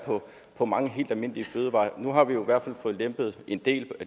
på mange helt almindelige fødevarer nu har vi jo i hvert fald fået lempet en del